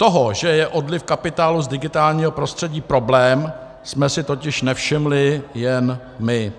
Toho, že je odliv kapitálu z digitálního prostředí problém, jsme si totiž nevšimli jen my.